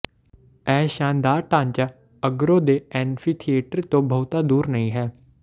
ਇਹ ਸ਼ਾਨਦਾਰ ਢਾਂਚਾ ਅਗਰੋ ਦੇ ਐਂਫੀਥੀਏਟਰ ਤੋਂ ਬਹੁਤਾ ਦੂਰ ਨਹੀਂ ਹੈ